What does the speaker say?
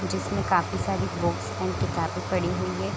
जिसमे काफी सारी बुक्स एंड किताबें पड़ी हुई है ।